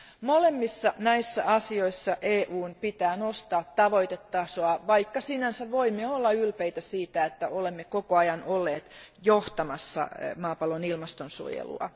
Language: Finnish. Molemmissa näissä asioissa EUn pitää nostaa tavoitetasoa, vaikka sinänsä voimme olla ylpeitä siitä, että olemme koko ajan olleet johtamassa maapallon ilmastonsuojelua.